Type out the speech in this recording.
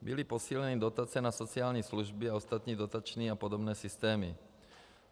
Byly posíleny dotace na sociální služby a ostatní dotační a podobné systémy.